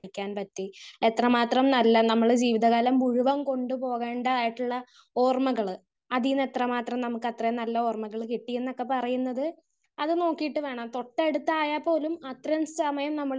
Speaker 1 പഠിക്കാൻ പറ്റി? എത്രമാത്രം നല്ല നമ്മള് ജീവിതകാലം മുഴുവൻ കൊണ്ട് പോവേണ്ടതായിട്ടുള്ള ഓർമ്മകള് അതീന്ന് എത്ര മാത്രം നമുക്ക് അത്രയും നല്ല ഓർമ്മകൾ കിട്ടി എന്ന് ഒക്കെ പറയുന്നത് അത് നോക്കീട്ട് വേണം തൊട്ടടുത്തായാൽ പോലും അത്രേം സമയം നമ്മള്